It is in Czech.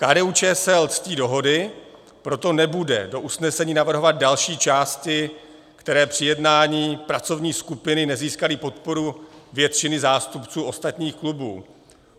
KDU-ČSL ctí dohody, proto nebude do usnesení navrhovat další části, které při jednání pracovní skupiny nezískaly podporu většiny zástupců ostatních klubů.